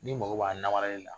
N'i mago b'a namaralen la